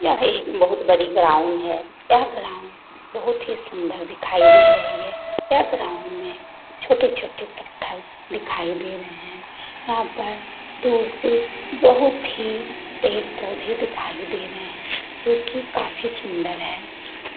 यह एक बहुत बड़ी ग्राउंड है यह ग्राउंड बहुत ही सुंदर दिखाई दिखाई दे रही है यह ग्राउंड में छोटे-छोटे पत्थर दिखाई दे रहे हैं यहाँ पर दूर से बहुत ही पेड़-पौधे दिखाई दे रहे हैं क्योंकि काफी सुंदर है ।